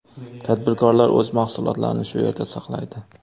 Tadbirkorlar o‘z mahsulotlarini shu yerda saqlaydi.